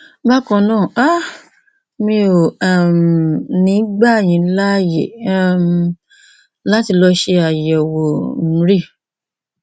bákan náà um mi ò um ní gbà yín láyè um láti lọ ṣe àyẹwò mri